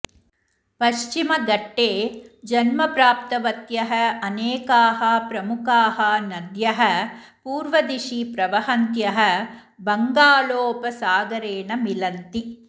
पश्चिमघट्टे जन्मप्राप्तवत्यः अनेकाः प्रमुखाः नद्यः पूर्वदिशि प्रवहन्त्यः बङ्गालोपसागरेण मिलन्ति